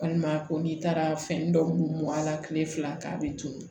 Walima a ko n'i taara fɛn dɔw mɔ a la kile fila k'a be tunun